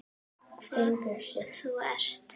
Hvað þú ert.